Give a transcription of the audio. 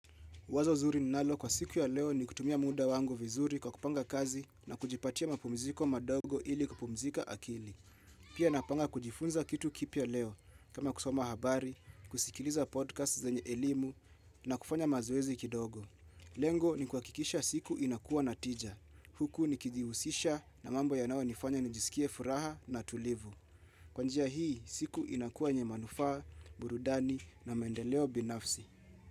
Wazo zuri ninalo kwa siku ya leo ni kutumia muda wangu vizuri kwa kupanga kazi na kujipatia mapumziko madogo ili kupumzika akili. Pia napanga kujifunza kitu kipia leo kama kusoma habari, kusikiliza podcast zenye elimu na kufanya mazoezi kidogo. Lengo ni kuhakikisha siku inakuwa natija. Huku nikijihusisha na mambo ya nawe nifanya nijisikie furaha na tulivu. Kwanjia hii siku inakuwa yenye manufaa, burudani na mendeleo binafsi.